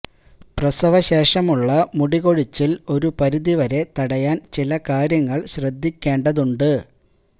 പ്രസവശേഷമുള്ള മുടി കൊഴിച്ചില് ഒരു പരിധി വരെ തടയാൻ ചില കാര്യങ്ങൾ ശ്രദ്ധിക്കേണ്ടതുണ്ട്